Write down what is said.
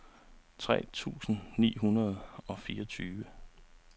tre tusind ni hundrede og fireogtyve